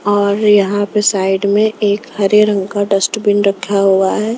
और यहां पे साइड में एक हरे रंग का डस्ट बिन रखा हुआ है .